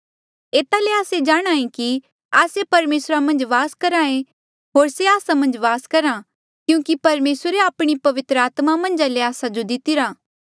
एता ले आस्से जाणहां ऐें कि आस्से परमेसरा मन्झ वास करहा ऐें होर से आस्सा मन्झ वास करहा क्यूंकि परमेसरे आपणी पवित्र आत्मा मन्झा ले आस्सा जो दितिरा